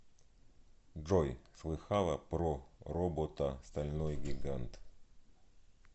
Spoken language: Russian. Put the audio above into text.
джой слыхала про робота стальной гигант